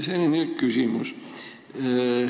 Selline küsimus.